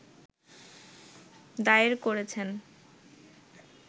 দায়ের করেছেন